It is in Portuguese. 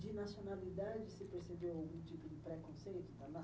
De nacionalidade, você percebeu algum tipo de preconceito da na